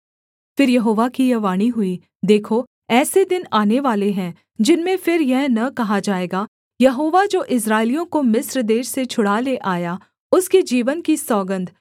फिर यहोवा की यह वाणी हुई देखो ऐसे दिन आनेवाले हैं जिनमें फिर यह न कहा जाएगा यहोवा जो इस्राएलियों को मिस्र देश से छुड़ा ले आया उसके जीवन की सौगन्ध